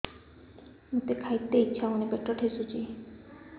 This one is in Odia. ମୋତେ ଖାଇତେ ଇଚ୍ଛା ହଉନି ପେଟ ଠେସୁଛି